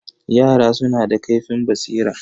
Yara suna da ƙaifin basira.